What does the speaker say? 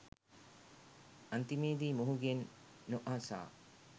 අන්තිමේදී මොහුගෙන් නොඅසා